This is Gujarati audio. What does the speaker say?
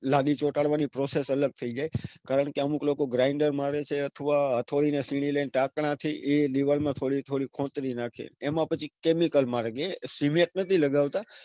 લાદી ચોટાડવાની process અલગ થઇ જાય કારણકે અમુક લોકો ઘરડા માણસે અથવા હથોડીને સીની ને ટાંકનાથી એ દીવાલ માં થોડીક થોડીક ખોતરી રાખે. એમાં પછી chemical મારે કે એ cement નથી લગાવતા